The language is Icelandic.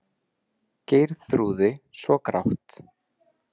Geirþrúði svo grátt.